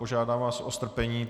Požádám vás o strpení.